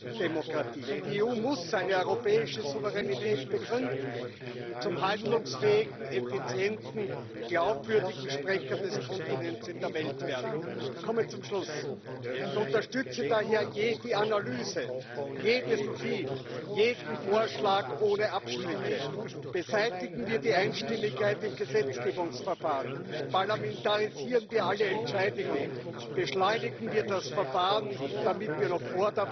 debat over de staat van de Unie gezegd wat ik niet goed vond en waar ik kritiek op had. Ik wil de Commissie en de voorzitter van de Commissie vandaag bedanken, want ik zie iemand die uit de grond van zijn hart in het Nederlands zeggen we vanuit zijn tenen altijd blijft pleiten voor een gemeenschappelijke Europese oplossing, ook als hij de tijdgeest niet mee heeft. Neem het onderwerp migratie heel Europa schreeuwt